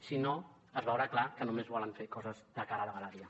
si no es veurà clar que només volen fer coses de cara a la galeria